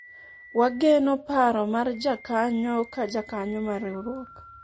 wageno paro mar jakanyo ka jakanyo mar riwruok